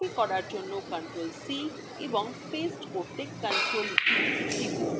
copy করার জন্য ctrl + c এবং paste করতে ctrl + v টিপুন